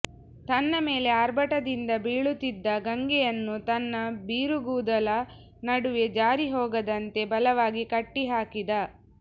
ತನ್ನ ಮೇಲೆ ಆರ್ಭಟದಿಂದ ಬೀಳುತ್ತಿದ್ದ ಗಂಗೆಯನ್ನು ತನ್ನ ಬಿರುಗೂದಲ ನಡುವೆ ಜಾರಿ ಹೋಗದಂತೆ ಬಲವಾಗಿ ಕಟ್ಟಿಹಾಕಿದ